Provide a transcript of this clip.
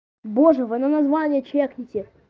боже вы на название чекните